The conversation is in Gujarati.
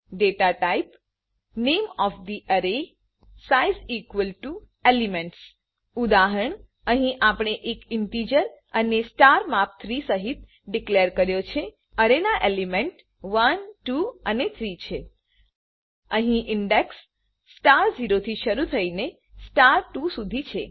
data type size is equal to elements ઉદાહરણઅહી આપણે એ ઈંટીજર અરે સ્ટાર માપ 3 સહીત ડીકલેર કર્યો છેઅરે ના એલિમેન્ટ 1 2 અને 3 છે અહી ઇન્ડેક્સ સ્ટાર 0 થી શરુ થઈને સ્ટાર 2સુધી છે